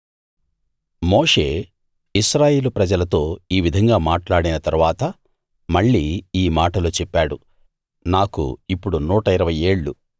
మోషే ఇశ్రాయేలు ప్రజలతో ఈ విధంగా మాట్లాడిన తరువాత మళ్ళీ ఈ మాటలు చెప్పాడు నాకు ఇప్పుడు 120 ఏళ్ళు